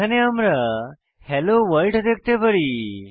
এখানে আমরা hello world দেখতে পারি